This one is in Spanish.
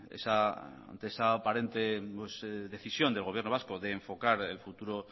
ante esa aparente decisión del gobierno vasco de enfocar el futuro